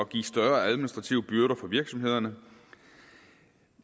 give større administrative byrder for virksomhederne